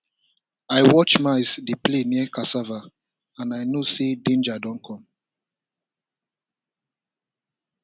i watch mice dey play near cassava and i know say danger dey come